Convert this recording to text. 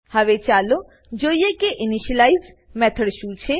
હવે ચાલો જોઈએ કે ઇનિશિયલાઇઝ ઇનીશલાઈઝ મેથડ શું છે